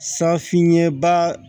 Safin ɲɛba